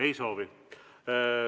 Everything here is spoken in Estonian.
Ei soovi.